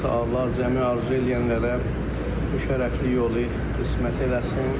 Allah-Təala zəmi arzu eləyənlərə bu şərəfli yolu qismət eləsin.